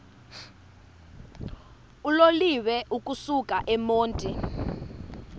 uloliwe ukusuk emontini